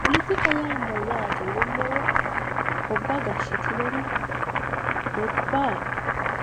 poletika yaa mayyaate yinummoro gobba gashshitinori gobba